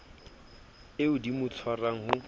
eo di mo tshwarang ho